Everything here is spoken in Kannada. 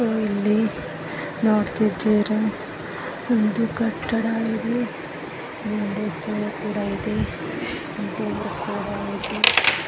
ಇಲ್ಲಿ ನೋಡ್ತಿದ್ದೀರಾ ಒಂದು ಕಟ್ಟಡ ಇದೆ ಬಿಸಿಕು ಕೂಡಾ ಇದೆ .